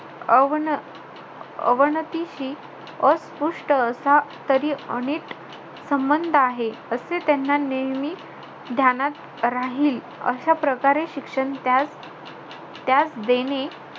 Oven~ अवनतीशी अस्पृष्ट असा तरी अनिट संबंध आहे. असे त्यांना नेहमी ध्यानात राहील, अशा प्रकारे शिक्षण त्यास त्यास देणे,